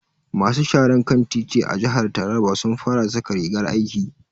Masu sharan kan titi a jihar taraba sun fara saka rigar aiki.